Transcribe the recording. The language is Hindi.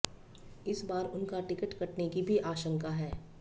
इस बार उनका टिकट कटने की भी आशंका है